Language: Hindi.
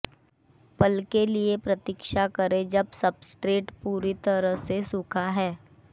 पल के लिए प्रतीक्षा करें जब सब्सट्रेट पूरी तरह से सूखा है